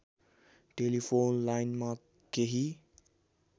telephone लाइनमा केही